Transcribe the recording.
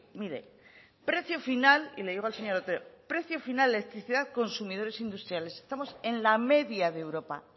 mire y le digo al señor otero precio final de electricidad consumidores industriales estamos en la media de europa